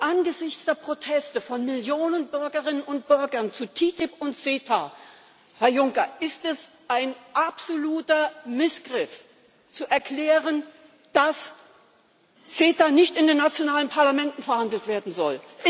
Angesichts der Proteste von Millionen Bürgerinnen und Bürgern zu TTIP und CETA, Herr Juncker, ist es ein absoluter Missgriff zu erklären, dass CETA nicht in den nationalen Parlamenten verhandelt werden soll.